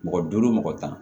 Mɔgɔ duuru mɔgɔ tan